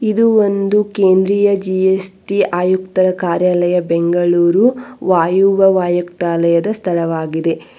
ಇದು ಒಂದು ಕೇಂದ್ರೀಯ ಜಿ_ಎಸ್_ಟಿ ಆಯುಕ್ತರ ಕಾರ್ಯಾಲಯ ಬೆಂಗಳೂರು ವಾಯುವ್ಯ ವ್ಯಾಯುಕ್ತಲಾಯದ ಸ್ಥಳವಾಗಿದೆ.